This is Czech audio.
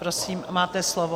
Prosím, máte slovo.